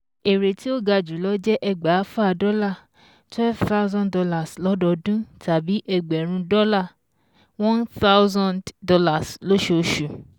Èrè tí ó ga jùlọ jẹ́ ẹgbàáfà dọ́là twelve thousand dollars lọ́dọọdún, tàbí ẹgbẹ̀rún dọ́là one thousand dollars lóṣooṣù